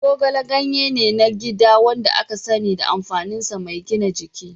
Zogale ganye ne na gida wanda aka sani da amfaninsa mai gina jiki.